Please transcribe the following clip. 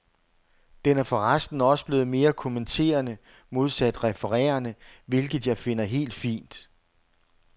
Den er forresten også blevet mere kommenterende, modsat referende, hvilket jeg finder helt fint.